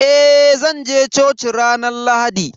Eh zanje coci ranar Lahadi.